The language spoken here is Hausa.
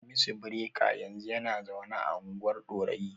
Hamisu Bireka yanzu yana zaune a unguwar Ɗorayi.